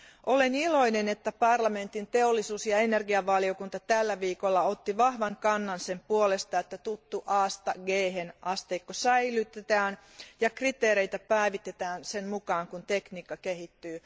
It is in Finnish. Olen iloinen, että parlamentin teollisuus tutkimus ja energiavaliokunta otti tällä viikolla vahvasti kantaa sen puolesta, että tuttu Asta Ghen asteikko säilytetään ja kriteereitä päivitetään sen mukaan, kun tekniikka kehittyy.